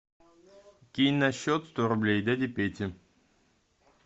кинь на счет сто рублей дяде пете